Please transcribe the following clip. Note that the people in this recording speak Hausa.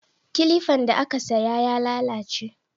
Kilifan da aka saya ya lalace